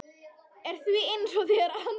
er því hins vegar andvíg.